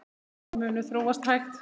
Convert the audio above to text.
Mál munu þróast hægt.